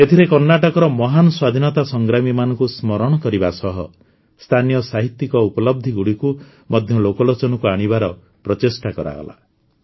ଏଥିରେ କର୍ଣ୍ଣାଟକର ମହାନ ସ୍ୱାଧୀନତା ସଂଗ୍ରାମୀମାନଙ୍କୁ ସ୍ମରଣ କରିବା ସହ ସ୍ଥାନୀୟ ସାହିତ୍ୟିକ ଉପଲବ୍ଧିଗୁଡ଼ିକୁ ମଧ୍ୟ ଲୋକଲୋଚନକୁ ଆଣିବାର ପ୍ରଚେଷ୍ଟା କରାଗଲା